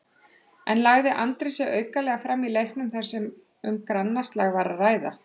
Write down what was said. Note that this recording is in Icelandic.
En lagði Andri sig aukalega fram í leiknum þar sem um grannaslag var að ræða?